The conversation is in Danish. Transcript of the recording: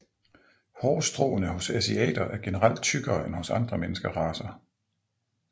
Hårstråene hos asiater er generelt tykkere end hos andre menneskeracer